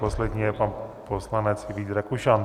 Poslední je pan poslanec Vít Rakušan.